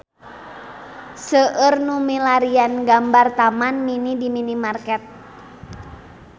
Seueur nu milarian gambar Taman Mini di internet